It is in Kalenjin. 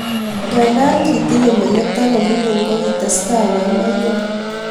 ngando kitinyei meleko nemining kokitestai koo maiyek